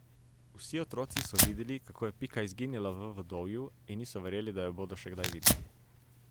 Vsi otroci so videli, kako je Pika izginila v vodovju, in niso verjeli, da jo bodo še kdaj videli.